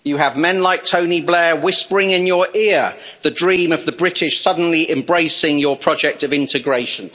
You have men like Tony Blair whispering in your ear about the dream of the British suddenly embracing your project of integration.